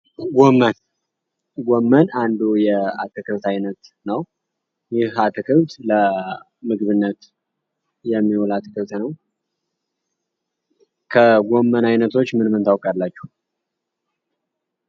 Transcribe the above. ጎመን ጎመን አንዱ የአትክልት አይነት ነው። ይህ አአትክልት ለምግብነት የሚውል አትክልት ነው። ከጎመን አይነቶች ምን ምን ታውቃላችሁ?